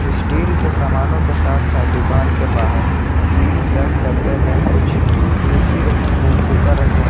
Steel के सामानों के साथ साथ दुकान के बाहर सील पैक डब्बे में कुछ मिक्सी तथा कुकर रखें है।